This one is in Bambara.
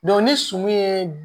ni sumun ye